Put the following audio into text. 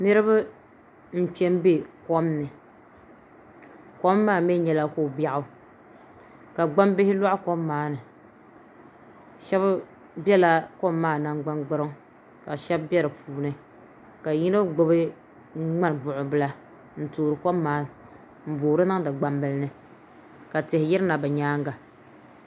Niraba n kpɛ n bɛ kom ni kom maa mii nyɛla ko biɛɣu ka gbambihi loɣa kom maa ni shab biɛla kom maa nangbani gburiŋ ka shab bɛ di puuni ka yino gbubi ŋmani buɣu bila n toori kom maa n boori niŋdi gbambili ni ka tihi yirina bi nyaanga